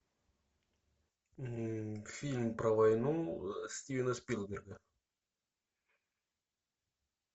фильм про войну стивена спилберга